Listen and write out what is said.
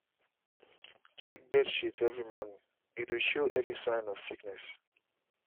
check bird shit every morning -e dey show early sign of sickness.